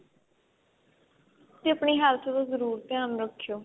ਤੇ ਆਪਣੀ health ਦਾ ਜਰੂਰ ਧਿਆਨ ਰੱਖਿਓ